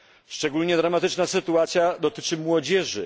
Szczególnie dramatyczna sytuacja dotyczy młodzieży.